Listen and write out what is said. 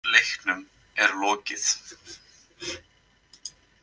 Leiknum er lokið.